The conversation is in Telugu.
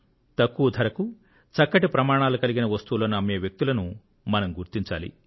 తక్కువ ధరకు చక్కటి ప్రమాణాలు కలిగిన వస్తువులను అమ్మే వ్యక్తులను మనం గుర్తించాలి